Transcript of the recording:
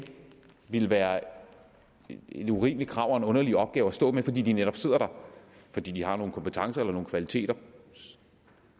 ville være et urimeligt krav og en underlig opgave at stå med fordi de netop sidder der fordi de har nogle kompetencer eller kvaliteter i